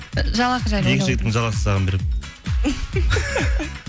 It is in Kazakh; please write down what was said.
ы жалақы жайлы жалақысын саған беремін